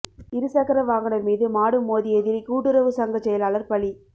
இருசக்கர வாகனம் மீது மாடு மோதியதில் கூட்டுறவு சங்கச் செயலாளா் பலி